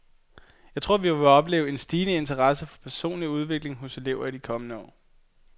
Jeg tror, vi vil opleve en stigende interesse for personlig udvikling hos elever i de kommende år.